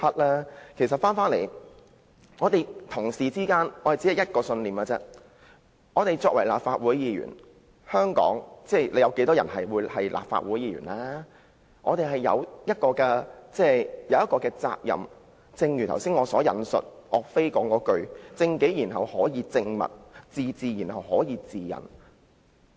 話說回來，議員只秉持一個信念，就是身為立法會議員——香港有多少立法會議員呢？——我們有一項責任，就是正如我剛才引述岳飛所說般，"正己然後可以正物，自治然後可以治人"。